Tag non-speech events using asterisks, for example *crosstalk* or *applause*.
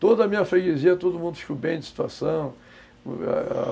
Toda a minha freguesia, todo mundo ficou bem de situação *unintelligible*